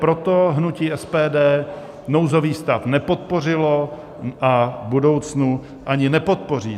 Proto hnutí SPD nouzový stav nepodpořilo a v budoucnu ani nepodpoří.